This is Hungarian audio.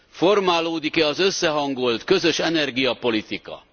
Formálódik e az összehangolt, közös energiapolitika?